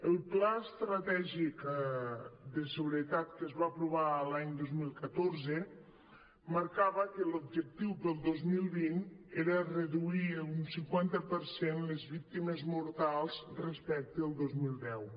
el pla estratègic de seguretat que es va aprovar l’any dos mil catorze marcava que l’objectiu per al dos mil vint era reduir un cinquanta per cent les víctimes mortals respecte al dos mil deu